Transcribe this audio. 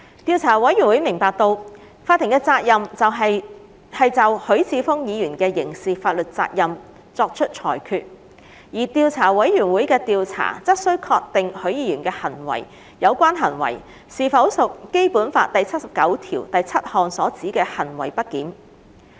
調查委員會明白到，法庭的責任是就許智峯議員的刑事法律責任作出裁決，而調査委員會的調查則須確定許議員的有關行為是否屬《基本法》第七十九條第七項所指的行為不檢。